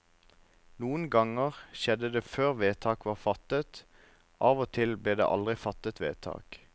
Noen ganger skjedde det før vedtak var fattet, av og til ble det aldri fattet vedtak.